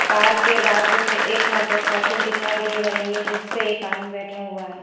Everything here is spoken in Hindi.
कार के बाजू में एक मोटरसाइकिल दिखाई दे रही है जिस पे एक आदमी बैठा हुआ है।